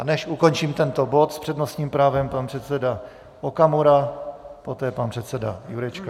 A než ukončím tento bod, s přednostním právem pan předseda Okamura, poté pan předseda Jurečka.